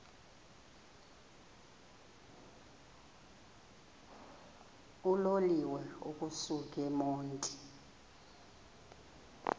uloliwe ukusuk emontini